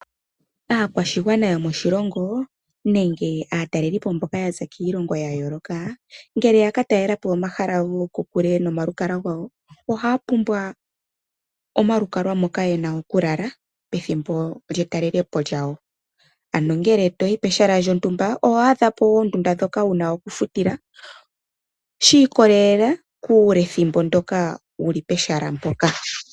Aakwashigwana yomoshilongo nenge aatalelipo mboka yaza kiilongo ya yooloka, ngele yaka talelapo omahala gokokule nomalukalwa gawo, ohaya pumbwa omalukalwa moka haya pumbwa oku lala pethimbo lye talelepo lyawo, ano ngele toyi pehala lyontumba, oho adhapo oondunda dhoka wuna oku futila shii kolelela kuule thimbo ndyoka wuli pehala mpoka.